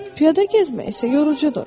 Piyada gəzmək isə yorucudur.